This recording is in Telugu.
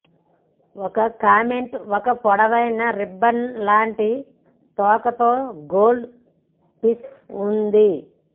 ఒక కామెట్ ఒక పొడవైన రిబ్బన్ లాంటి తోకతో గోల్డ్ ఫిష్ ఉంది